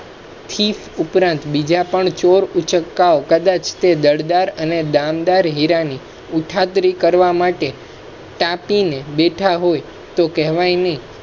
thief ઉપરાંત બીજા પણ ચોર ઉચ્ચ કા કદાચ તે દળદાર અને દમદાર હીરા ની ઉંઠાતરી કરવા માટે તાપી ને બેઠા હોય તોહ કહેવાય નઇ